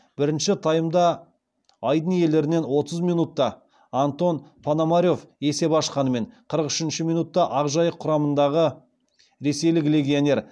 бірінші таймда айдын иелерінен отыз минутта антон пономарев есеп ашқанымен қырық үшінші минутта ақжайық құрамындағы ресейлік легионер